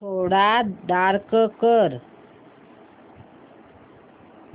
थोडा डार्क कर